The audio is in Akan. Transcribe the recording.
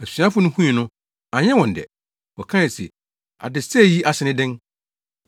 Asuafo no hui no, anyɛ wɔn dɛ. Wɔkae se, “Adesɛe yi ase ne dɛn?